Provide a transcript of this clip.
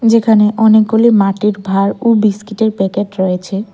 যেখানে অনেকগুলি মাটির ভার ও বিস্কিটের প্যাকেট রয়েছে।